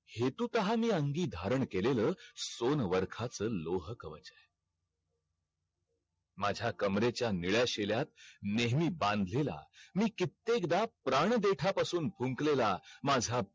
हैतू प्रहारणी अंगही धारण केलेल सोन वर्खाच लोह खवाच है माझा कंबरेच्या निळ्या शेल्यात नेहमी बांधलेल्या मी कित्येकदा प्राण देठा पासून फुंकलेला माझा